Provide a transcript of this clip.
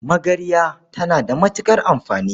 Magarya tana da matuƙar amfani.